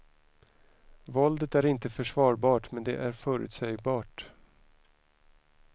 Våldet är inte försvarbart men det är förutsägbart.